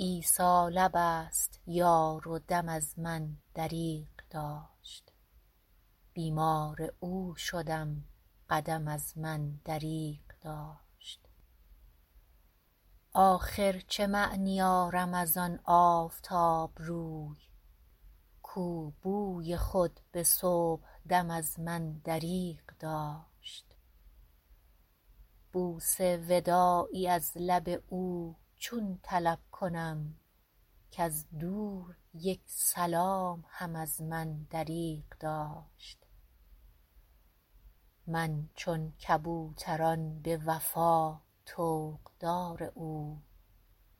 عیسی لب است یار و دم از من دریغ داشت بیمار او شدم قدم از من دریغ داشت آخر چه معنی آرم از آن آفتاب روی کو بوی خود به صبح دم از من دریغ داشت بوس وداعی از لب او چون طلب کنم کز دور یک سلام هم از من دریغ داشت من چون کبوتران به وفا طوق دار او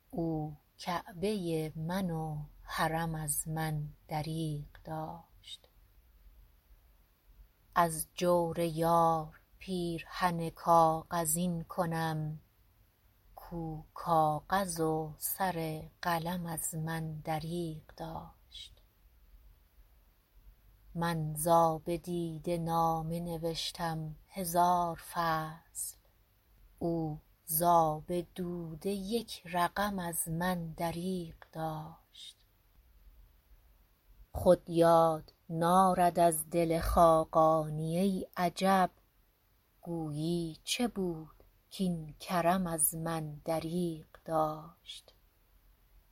او کعبه من و حرم از من دریغ داشت از جور یار پیرهن کاغذین کنم کو کاغذ و سر قلم از من دریغ داشت من ز آب دیده نامه نوشتم هزار فصل او ز آب دوده یک رقم از من دریغ داشت خود یار نارد از دل خاقانی ای عجب گویی چه بود کاین کرم از من دریغ داشت